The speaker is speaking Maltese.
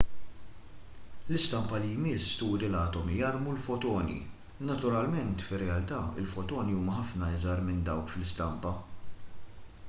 l-istampa li jmiss turi l-atomi jarmu l-fotoni naturalment fir-realtà il-fotoni huma ħafna iżgħar minn dawk fl-istampa